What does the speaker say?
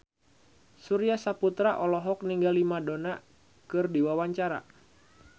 Surya Saputra olohok ningali Madonna keur diwawancara